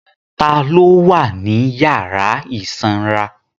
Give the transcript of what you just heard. Ta ló wà ní yàrá ìsanra